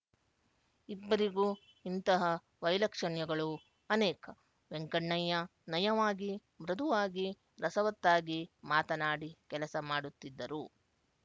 ಇಬ್ಬರಿಗೂ ಇಂತಹ ವೈಲಕ್ಷಣ್ಯಗಳು ಅನೇಕ ವೆಂಕಣ್ಣಯ್ಯ ನಯವಾಗಿ ಮೃದುವಾಗಿ ರಸವತ್ತಾಗಿ ಮಾತನಾಡಿ ಕೆಲಸ ಮಾಡಿಸುತ್ತಿದ್ದರು